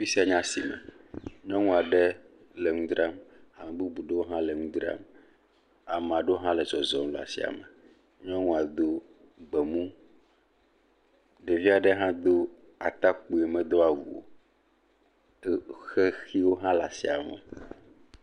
Fi sia nye asime. Nyɔnua ɖe le nu dzram. Ame bubu ɖewo hã le nu dram. Ame aɖewo hã le zɔzɔm le asime. Nyɔnua do gbemu, ɖevia ɖe hã do atakpuie, medo awu o. Xexiwo hã le asime.